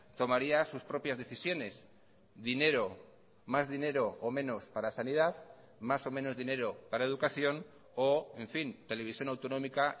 tomaría sus propias decisiones dinero más dinero o menos para sanidad más o menos dinero para educación o en fin televisión autonómica